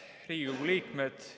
Head Riigikogu liikmed!